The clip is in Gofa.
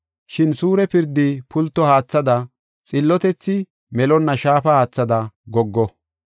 Shin suure pirdi pulto haathada, xillotethi melonna shaafa haathada goggo.